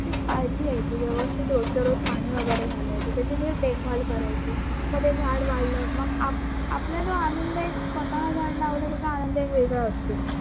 काळजी घ्यायची व्यवस्थित रोजच्या रोज पाणी वगरे घालायचं त्याची थोडी देखभाल करायची जर ते झाडं वाढलं मग आप आपल्याला आनंद आहे, स्वतः झाडं लावलं त्याचा आनंद एक वेगळा असतो